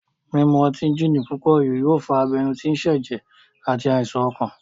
Mímu ọtí gini púpòjù yóò fa abenú tí sẹ̀jẹ̀ àti àìsàn ọkàn